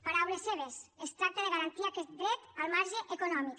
paraules seves es tracta de garantir aquest dret al marge d’allò econòmic